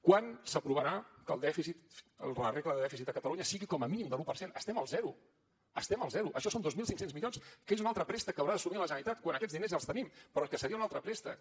quan s’aprovarà que la regla de dèficit a catalunya sigui com a mínim de l’un per cent estem al zero estem al zero això són dos mil cinc cents milions que és un altre préstec que haurà d’assumir la generalitat quan aquests diners ja els tenim però que seria un altre préstec